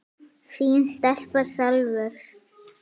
Þín stelpa, Salvör.